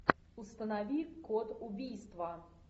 установи код убийства